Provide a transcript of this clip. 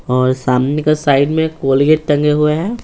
और सामने का साइड में कोलगेट टंगे हुए हैं।